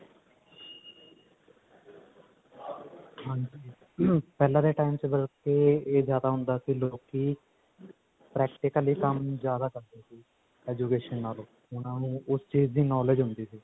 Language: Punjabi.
ਹਾਂਜੀ ਪਹਿਲਾ ਦੇ time ਚ ਮਤਲਬ ਕਿ ਇਹ ਜਿਆਦਾ ਹੁੰਦਾ ਸੀ ਕਿ ਲੋਕੀ practically ਕੰਮ ਜਿਆਦਾ ਕਰਦੇ ਸੀ education ਨਾਲੋ ਉਹਨਾਂ ਨੂੰ ਉਸ ਚੀਜ ਦੀ knowledge ਜਿਆਦਾ ਹੁੰਦੀ ਸੀ